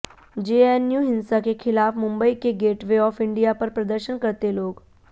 JNU हिंसा के खिलाफ मुंबई के गेटवे ऑफ इंडिया पर प्रदर्शन करते लोग